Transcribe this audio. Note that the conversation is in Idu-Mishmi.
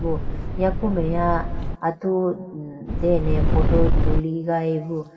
yaku meya atu dene photo tuligayi bo.